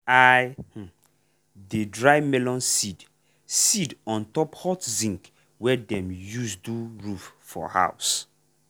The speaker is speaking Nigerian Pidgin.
i um dey dry melon seed seed on top hot zinc wey dem use do roof for house.